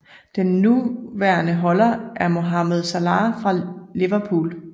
Den nuværende holder er Mohamed Salah fra Liverpool